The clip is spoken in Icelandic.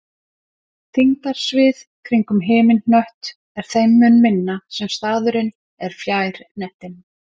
Þyngdarsvið kringum himinhnött er þeim mun minna sem staðurinn er fjær hnettinum.